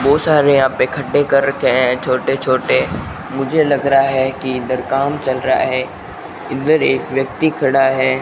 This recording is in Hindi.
बहुत सारे यहां गड्ढे कर रखे हैं छोटे छोटे मुझे लग रहा है कि इधर काम चल रहा है इधर एक व्यक्ति खड़ा है।